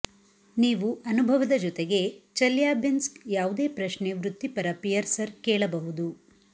ನೀವು ಅನುಭವದ ಜೊತೆಗೆ ಚೆಲ್ಯಾಬಿನ್ಸ್ಕ್ ಯಾವುದೇ ಪ್ರಶ್ನೆ ವೃತ್ತಿಪರ ಪಿಯರ್ಸರ್ ಕೇಳಬಹುದು